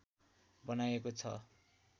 बनाइएको छ